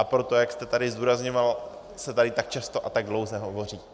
A proto, jak jste tady zdůrazňoval, se tady tak často a tak dlouze hovoří.